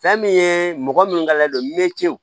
Fɛn min ye mɔgɔ minnu ka layidon metew